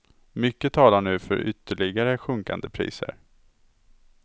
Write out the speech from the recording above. Mycket talar nu för ytterligare sjunkande priser.